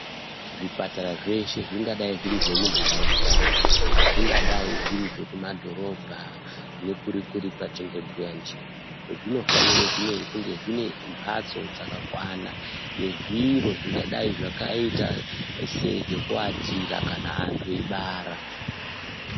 Zvipatara zveshe zvingadai zviri zvemunharaunda, zvingadai zviri zvekumadhorobha nekuri-kuri kwatingebhuya ndiko. Zvinofanire kunge zvinembatso dzakakwana nezviro zvingadai zvakaita sezvekuatira kana antu eibara.